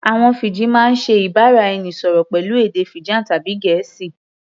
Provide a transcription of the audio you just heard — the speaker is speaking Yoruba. Àwọn Fiji máa ń ṣe ìbára-ẹnisọ̀rọ̀ pẹ̀lú èdè Fijan tàbí Gẹ̀ẹ́sì